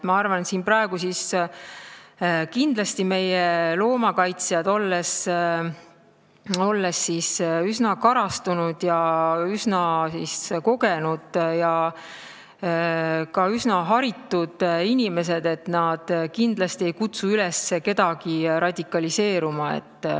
Ma arvan, et praegu meie loomakaitsjad, olles üsna karastunud, üsna kogenud ja üsna haritud inimesed, ei kutsu kindlasti kedagi üles radikaliseeruma.